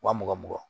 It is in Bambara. Wa mugan mugan mugan